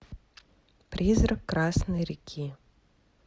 призрак красной реки